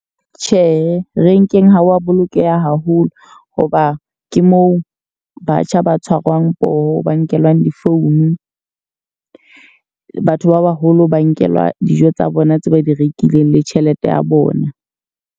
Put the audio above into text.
Tjhe, renkeng ha wa bolokeha haholo. Ho ba ke moo batjha ba tshwarwang poho, ba nkelwang di-phone. Batho ba baholo ba nkelwa dijo tsa bona tse ba di rekileng le tjhelete ya bona.